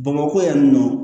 Bamakɔ yan nɔ